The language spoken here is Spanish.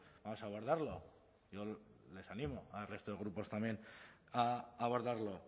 vamos a abordarlo yo les animo al resto de grupos también a abordarlo